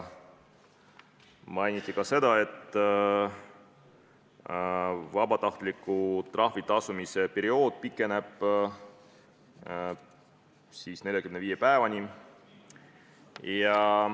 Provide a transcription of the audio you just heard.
Mainiti ka seda, et vabatahtlik trahvi tasumise periood pikeneb 45 päevani.